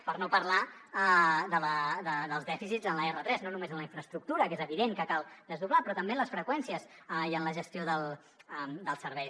per no parlar dels dèficits en l’r3 no només en la infraestructura que és evident que cal desdoblar però també en les freqüències i en la gestió dels serveis